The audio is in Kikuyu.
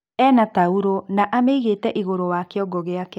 Ena tauro na amĩigĩte igurũ wa kiongo giake.